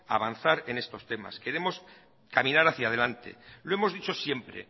avanzar en estos temas queremos caminar hacia delante lo hemos dicho siempre